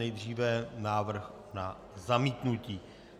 Nejdříve návrh na zamítnutí.